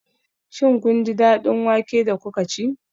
Shin kun ji daɗin wake da kuka ci?